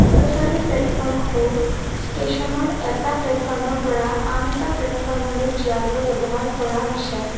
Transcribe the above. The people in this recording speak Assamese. অদছাৰি প্লেটফমটো ষ্টেচনৰ এটা প্লেটফমৰ পৰা আন এটা প্লেটফমলৈ যোৱাকৈ ব্যাৱহাৰ কৰা হৈছে।